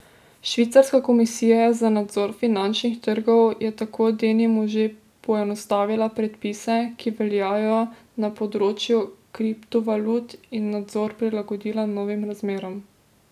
Švicarska komisija za nadzor finančnih trgov je tako denimo že poenostavila predpise, ki veljajo na področju kriptovalut, in nadzor prilagodila novim razmeram.